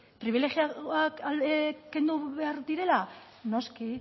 pribilegiatuak kendu behar direla noski